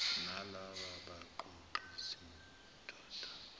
nalaba baqoqi sidoda